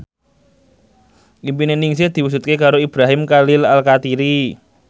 impine Ningsih diwujudke karo Ibrahim Khalil Alkatiri